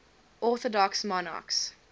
orthodox monarchs